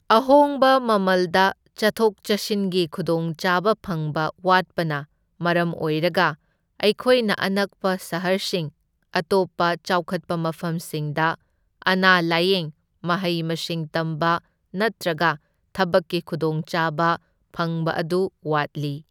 ꯑꯍꯣꯡꯕ ꯃꯃꯜꯗ ꯆꯠꯊꯣꯛ ꯆꯠꯁꯤꯟꯒꯤ ꯈꯨꯗꯣꯡꯆꯥꯕ ꯐꯪꯕ ꯋꯥꯠꯄꯅ ꯃꯔꯝ ꯑꯣꯢꯔꯒ ꯑꯩꯈꯣꯏꯅ ꯑꯅꯛꯄ ꯁꯍꯔꯁꯤꯡ, ꯑꯇꯣꯞꯄ ꯆꯥꯎꯈꯠꯄ ꯃꯐꯝꯁꯤꯡꯗ ꯑꯅꯥ ꯂꯥꯢꯌꯦꯡ ꯃꯍꯩ ꯃꯁꯤꯡ ꯇꯝꯕ ꯅꯠꯇ꯭ꯔꯒ ꯊꯕꯛꯀꯤ ꯈꯨꯗꯣꯡꯆꯥꯕ ꯐꯪꯕ ꯑꯗꯨ ꯋꯥꯠꯂꯤ꯫